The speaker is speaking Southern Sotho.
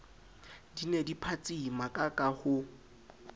di ne di phatsimakaka ho